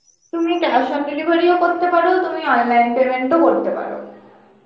তুমি cash on delivery ও করতে পর তুমি online payment ও করতে পারো .